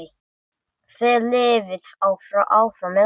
Þið lifið áfram með okkur.